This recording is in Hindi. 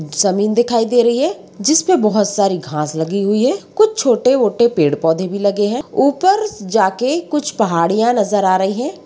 जमीन दिखाई दे रही है जिसपे बोहोत सारी घांस लगी हुई हैं कुछ छोटे-वोटे पेड़-पौधे भी लगे हैं ऊपर जाके कुछ पहाड़ियाँ नजर आ रही हैं।